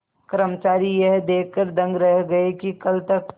कर्मचारी यह देखकर दंग रह गए कि कल तक